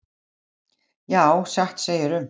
Já, satt segirðu.